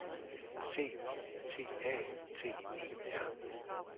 C I T A T E R